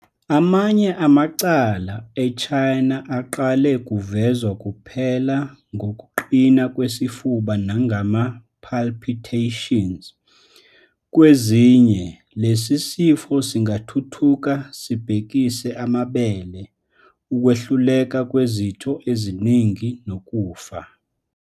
Amanye amacala e-China aqale kuvezwa kuphela ngokuqina kwesifuba nangama- palpitations. Kwezinye, lesi sifo singathuthuka sibhekise amabele, ukwehluleka kwezitho eziningi, nokufa.